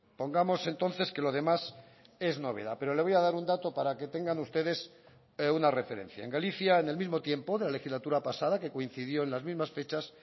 pongamos entonces que lo demás es novedad pero le voy a dar un dato para que tengan ustedes una referencia en galicia en el mismo tiempo de la legislatura pasada que coincidió en las mismas fechas